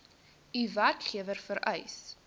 u werkgewer vereis